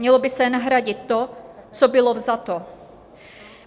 Mělo by se nahradit to, co bylo vzato.